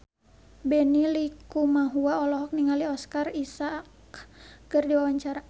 Benny Likumahua olohok ningali Oscar Isaac keur diwawancara